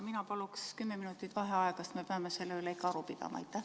Mina palun kümme minutit vaheaega, sest me peame selle üle ikka aru pidama.